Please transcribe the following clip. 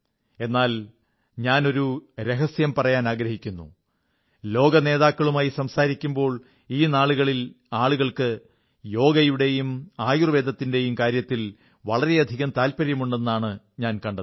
എന്നാൽ ഞാനൊരു രഹസ്യം പറയാനാഗ്രഹിക്കുന്നു ലോകനേതാക്കളുമായി സംസാരിക്കുമ്പോൾ ഈ നാളുകളിൽ ആളുകൾക്ക് യോഗയുടെയും ആയുർവ്വേദത്തിന്റെയും കാര്യത്തിൽ വളരെയധികം താത്പര്യമുണ്ടെന്നാണ് ഞാൻ കണ്ടത്